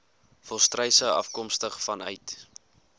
volstruise afkomstig vanuit